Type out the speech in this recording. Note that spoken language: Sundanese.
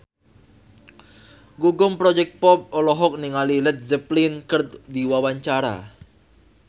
Gugum Project Pop olohok ningali Led Zeppelin keur diwawancara